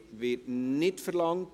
– Es wird nicht verlangt.